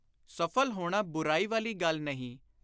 ਸਫਲ ਹੋਣਾ ਬੁਰਾਈ ਵਾਲੀ ਗੱਲ ਨਹੀਂ।